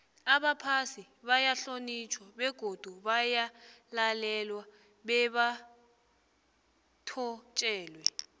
abaphasi bayahlonitjhwa begodu bayalalelwa bebathotjelwe